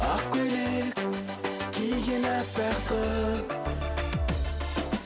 ақ көйлек киген аппақ қыз